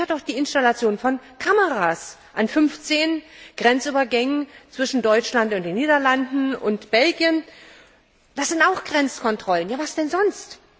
Dazu gehört auch die Installation von Kameras an 15 Grenzübergängen zwischen Deutschland und den Niederlanden und Belgien Das sind auch Grenzkontrollen, was denn sonst?